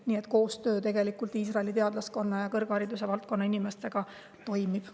Nii et koostöö Iisraeli teadlaskonna ja kõrghariduse valdkonna inimestega toimib.